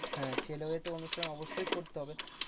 হ্যাঁ ছেলে হয়ে তো অনুষ্ঠান অবশ্যই করতে হবে।